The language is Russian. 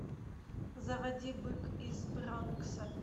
заводи бык из бронкса